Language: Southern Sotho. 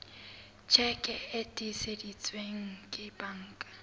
tjheke e tiiseditsweng ke banka